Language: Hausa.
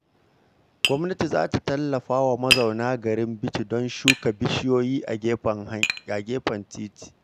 Gwamnati za ta tallafa wa mazauna garin Bichi don shuka bishiyoyi a gefen titi.